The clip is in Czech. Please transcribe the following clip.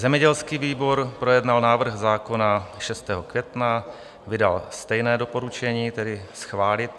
Zemědělský výbor projednal návrh zákona 6. května, vydal stejné doporučení, tedy schválit.